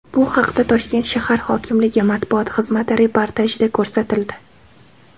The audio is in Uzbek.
Bu haqda Toshkent shahar hokimligi matbuot xizmati reportajida ko‘rsatildi .